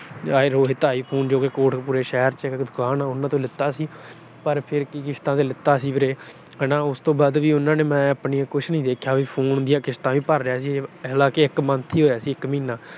Rohit I Phone Kotkapura ਜੋ ਕਿ ਸ਼ਹਿਰ ਚ ਇੱਕ ਦੁਕਾਨ ਆ, ਉਹਨਾਂ ਤੋਂ ਲੀਤਾ ਸੀ। ਪਰ ਫਿਰ ਕੀ ਕਿਸ਼ਤਾਂ ਤੇ ਲੀਤਾ ਸੀ ਵੀਰੇ। ਹਨਾ ਉਸ ਤੋਂ ਬਾਅਦ ਉਹਨਾਂ ਨੇ ਕੁਛ ਨੀ ਦੇਖਿਆ, phone ਦੀਆਂ ਕਿਸ਼ਤਾਂ ਵੀ ਭਰ ਰਿਹਾ ਸੀ, ਹਾਲਾਂਕਿ ਇੱਕ month ਹੀ ਹੋਇਆ ਸੀ, ਇੱਕ ਮਹੀਨਾ।